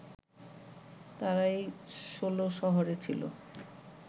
তারাই ষোলশহরে ছিল